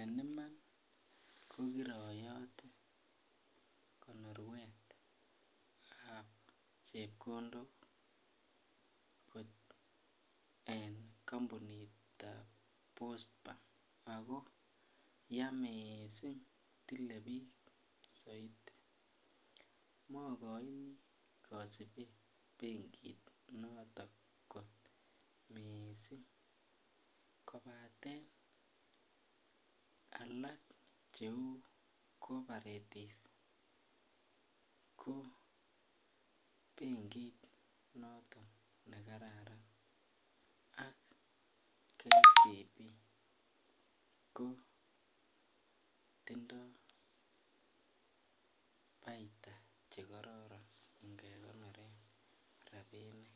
En Iman kogiroyote konoruet ab chepkondok kot en kampunit ab post bank ako yaa mising tile bik soiti makoini kasubet benkit noton kot mising kobaten alak cheu cooperative ko benkit noton ne kararan ak KCB ko tindoi paita Che kororon ingekonoren rabinik